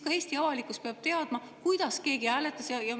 Ka Eesti avalikkus peab teadma, kuidas keegi hääletas.